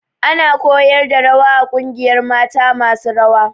Ana koyar da rawa a ƙungiyar mata masu rawa